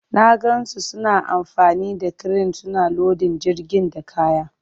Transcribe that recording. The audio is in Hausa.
Na gan su suna amfani da kiren suna lodin jirgin da kaya.